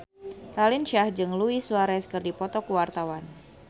Raline Shah jeung Luis Suarez keur dipoto ku wartawan